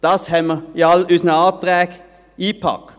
Dies haben wir in all unsere Anträge eingepackt.